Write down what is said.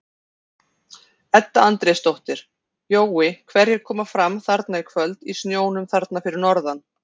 Edda Andrésdóttir: Jói hverjir koma fram þarna í kvöld í snjónum þarna fyrir norðan?